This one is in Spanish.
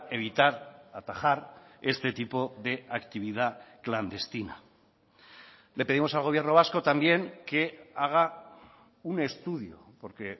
evitar atajar este tipo de actividad clandestina le pedimos al gobierno vasco también que haga un estudio porque